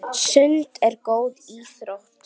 Sund er góð íþrótt.